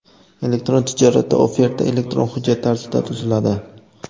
Elektron tijoratda oferta elektron hujjat tarzida tuziladi.